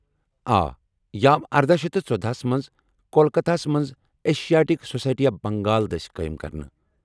آ، یہ آو اردَہ شیتھ تہٕ ژۄدَہ ہس منٛز کولکتہ ہَس منٛز ایشییٹک سوسایٹی آف بنٛگال دٕسۍ قٲیم کرنہٕ